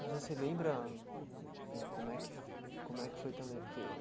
Você se lembra hum ãh como é que fo como é que foi também? Porque